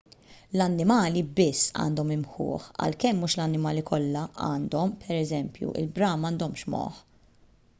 l-annimali biss għandhom imħuħ għalkemm mhux l-annimali kollha għandhom; pereżempju il-bram m’għandhomx moħħ